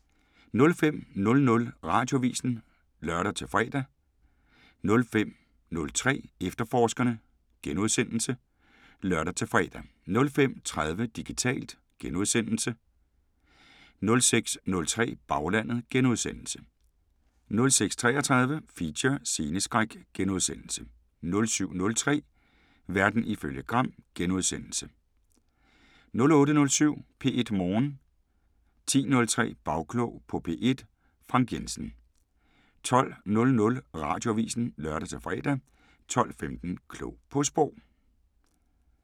05:00: Radioavisen (lør-fre) 05:03: Efterforskerne *(lør og fre) 05:30: Digitalt * 06:03: Baglandet * 06:33: Feature: Sceneskræk * 07:03: Verden ifølge Gram * 08:07: P1 Morgen 10:03: Bagklog på P1: Frank Jensen 12:00: Radioavisen (lør-fre) 12:15: Klog på Sprog